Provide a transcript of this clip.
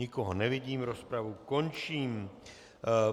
Nikoho nevidím, rozpravu končím.